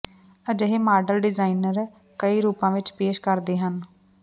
ਅਜਿਹੇ model designer ਕਈ ਰੂਪਾਂ ਵਿਚ ਪੇਸ਼ ਕਰਦੇ ਹਨ